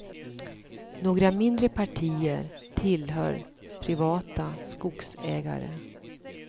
Några mindre partier tillhör privata skogsägare.